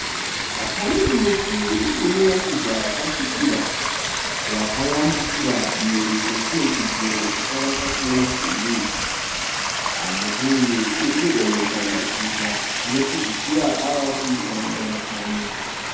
Pane muti une mashizha akasvibira. Wakayambukira mhiri kwechimwe chidziro chakavakwa chine masimbi. Muti uyu urikudonhedza mashizha anopedzisira avakuita murakwani.